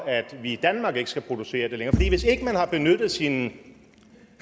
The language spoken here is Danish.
at vi i danmark ikke skal producere det længere for hvis ikke man har benyttet sine